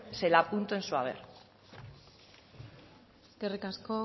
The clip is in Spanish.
se lo apunto en su haber eskerrik asko